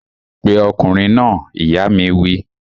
Pe ọkùnrin náà! ìyá mi wí